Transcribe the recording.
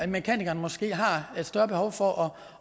mekanikeren måske har et større behov for